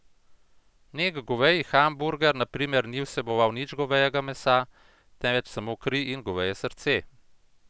Nek goveji hamburger na primer ni vseboval nič govejega mesa, temveč samo kri in goveje srce.